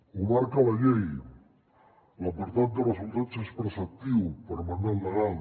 ho marca la llei l’apartat de resultats és preceptiu per mandat legal